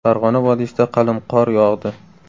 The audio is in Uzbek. Farg‘ona vodiysida qalin qor yog‘di .